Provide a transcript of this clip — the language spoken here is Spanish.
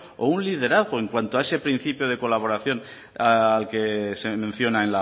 o un liderazgo en cuanto a ese principio de colaboración al que se menciona